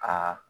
Aa